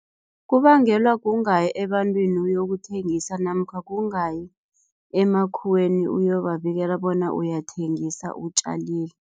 Kubangelwa kungayi ebantwini uyokuthengisa namkha kungayi emakhuweni uyobabikela bona uyathengisa, utjalile.